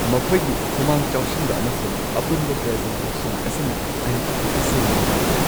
ꯃꯈꯣꯏꯒꯤ ꯈꯨꯃꯥꯡ ꯆꯥꯎꯁꯤꯟꯕ ꯑꯃꯁꯨꯡ ꯑꯄꯨꯟꯕ ꯄ꯭ꯔꯖꯦꯟꯇꯦꯁꯟ ꯑꯁꯤꯅ ꯑꯩ ꯇꯁꯦꯡꯅ ꯅꯨꯡꯉꯥꯏꯈꯤ꯫